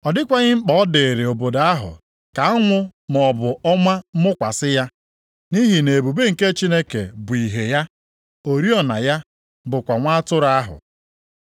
Ọ dịkwaghị mkpa ọ dịrị obodo ahụ ka anwụ maọbụ ọnwa mụkwasị ya, nʼihi na ebube nke Chineke bụ ìhè ya, oriọna ya bụkwa Nwa atụrụ ahụ.